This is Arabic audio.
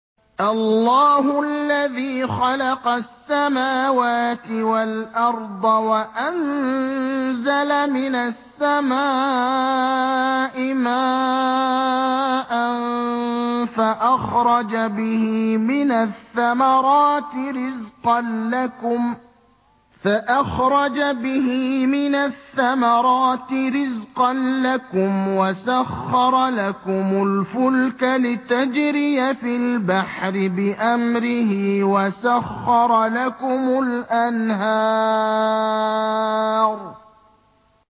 اللَّهُ الَّذِي خَلَقَ السَّمَاوَاتِ وَالْأَرْضَ وَأَنزَلَ مِنَ السَّمَاءِ مَاءً فَأَخْرَجَ بِهِ مِنَ الثَّمَرَاتِ رِزْقًا لَّكُمْ ۖ وَسَخَّرَ لَكُمُ الْفُلْكَ لِتَجْرِيَ فِي الْبَحْرِ بِأَمْرِهِ ۖ وَسَخَّرَ لَكُمُ الْأَنْهَارَ